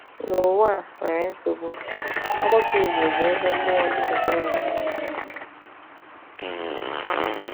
N’ụwa a nwere nsogbu, ọgbakọ Igbo bụ ebe mmụọ dị ka oasis.